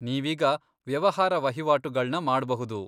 ನೀವೀಗ ವ್ಯವಹಾರ ವಹಿವಾಟುಗಳ್ನ ಮಾಡ್ಬಹುದು.